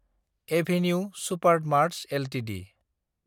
avenue Supermarts Ltd